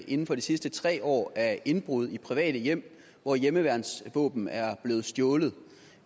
inden for de sidste tre år af indbrud i private hjem hvor hjemmeværnsvåben er blevet stjålet